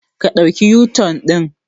Ƙa ɗauka u-turn din.